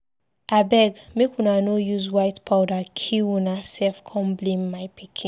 Abeg make una no use white powder kill una self come blame my pikin.